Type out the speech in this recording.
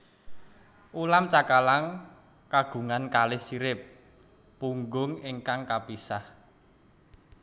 Ulam cakalang kagungan kalih sirip punggung ingkang kapisah